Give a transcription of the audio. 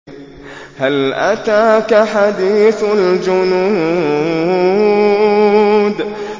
هَلْ أَتَاكَ حَدِيثُ الْجُنُودِ